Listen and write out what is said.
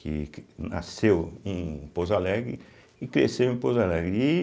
que que nasceu em Pouso Alegre e cresceu em Pouso Alegre e